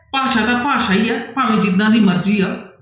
ਭਾਸ਼ਾ ਤਾਂ ਭਾਸ਼ਾ ਹੀ ਆ ਭਾਵੇਂ ਜਿੱਦਾਂ ਦੀ ਮਰਜ਼ੀ ਆ।